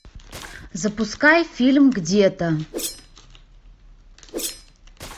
запускай фильм где то